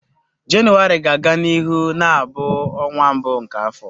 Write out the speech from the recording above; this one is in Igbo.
Jenụwarị ga-aga n'ihu na-abụ ọnwa mbụ nke afọ.